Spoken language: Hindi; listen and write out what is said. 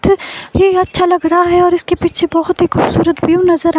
ये अच्छा लग रहा है और इसके पीछे बहोत ही ख़ूबसूरत व्यू नज़र आ--